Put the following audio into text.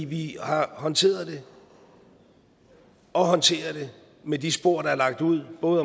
vi har håndteret det og håndterer det med de spor der er lagt ud både